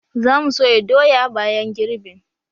Za mu soya doya bayan girbin